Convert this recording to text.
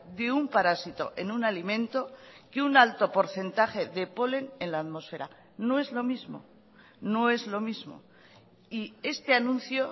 de un parásito en un alimento que un alto porcentaje de polen en la atmósfera no es lo mismo no es lo mismo y este anuncio